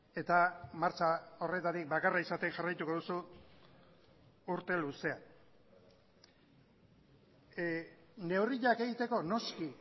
eta martxa horretatik bakarra izaten jarraituko duzu urte luzean neurriak egiteko noski